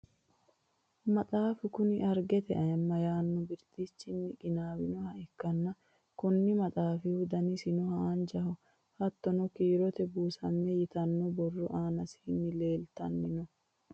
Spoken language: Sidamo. maxaafu kuni argete ayiimma yaanno birtichinni qinaawinoha ikkanna, konni maxaafihu danisino haanjaho. hattono kiirote buusamme yitanno borro aanasiinni leeltanni no.